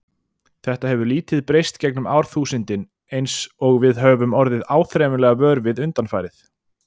Þetta hefur lítið breyst gegnum árþúsundin eins og við höfum orðið áþreifanlega vör við undanfarið.